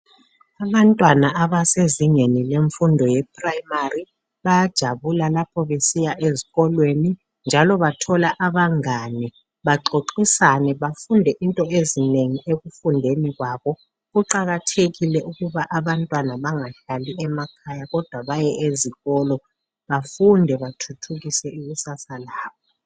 Abantwana abasezingeni lemfundo yeprimary bayajabula lapho besiya ezikolweni njalo bathola abangane baxoxisane bafunde into ezinengi ekufundeni kwabo kuqakathekile ukuba abantwana bengahlali emakhaya kodwa baye ezikolo bafunde bathuthukise ikusasa labo